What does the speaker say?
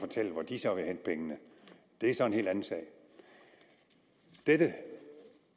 fortælle hvor de så ville hente pengene det er så en helt anden sag dette